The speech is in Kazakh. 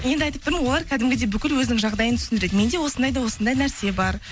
енді айтып тұрмын олар кәдімгідей бүкіл өзінің жағдайын түсіндіреді менде осындай да осындай нәрсе бар